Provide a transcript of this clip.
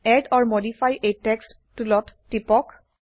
add or modify a text টুলত টিপক